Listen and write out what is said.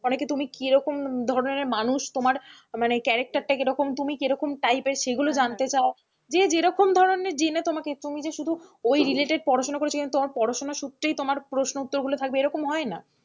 অনেকে তুমি কিরকম ধরনের মানুষ, তোমার মানে character টা কিরকম তুমি কিরকম type এর সেগুলো জানতে চায় যে যেরকম ধরনের জেনে তোমাকে তুমি যে শুধু ঐ related পড়াশোনা করেছো কিন্তু তোমার পড়াশোনা সূত্রেই তোমার প্রশ্ন উত্তর গুলো থাকবে এরকম হয়না,